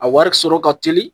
A wari sɔrɔ ka teli